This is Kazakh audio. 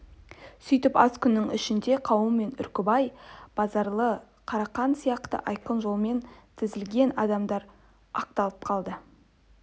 сүйтіп аз күн ішінде қаумен үркімбай базаралы қарақан сияқты айқын жаламен тізілген адамдар ақталып қалды